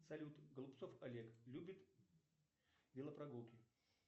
салют голубцов олег любит велопрогулки